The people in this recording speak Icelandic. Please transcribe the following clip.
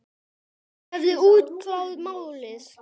Þeir höfðu útkljáð málið.